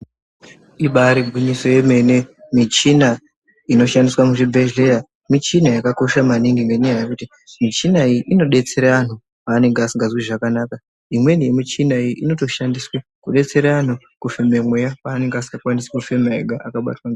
Ibaari gwinyiso remene, michina inoshandiswa muzvibhehleya, michina yakakosha maningi, ngenyaya yekuti muchina iyi inobetsera vanthu peanenge asinganzwi zvakanaka. Imweni yemuchina iyi inotoshandiswe kudetsere vantu kufeme mweya peanenge asingakwanisi kufema ega.